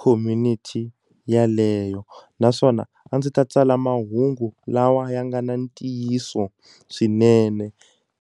community yeleyo naswona a ndzi ta tsala mahungu lawa ya nga na ntiyiso swinene.